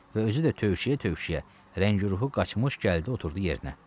Və özü də tövşüyə-tövşüyə, rəngi ruhu qaçmış gəldi oturdu yerinə.